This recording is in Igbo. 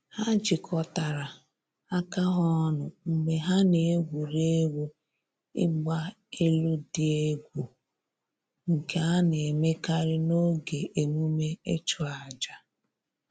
Ha jikọtara aka ha ọnụ mgbe ha na-egwuri egwu ịgba elu dị egwu, nke a na-emekarị n’oge emume ịchụ aja